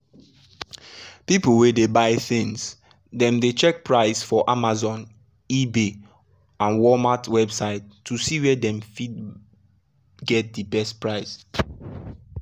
people wey dey buy things dem dey check price for amazon ebay and walmart website to see where dem fit get de best best price.